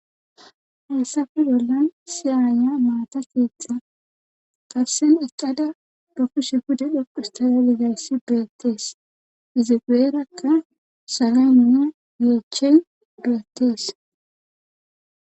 Hayssappe bolan issi aayiya maata keeththa garssan utada ba kushiya pude xoqqustada didayssi betees. izi guyerakka salena yeeche beetees.